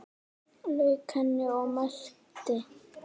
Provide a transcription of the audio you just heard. Lauk henni og merkti.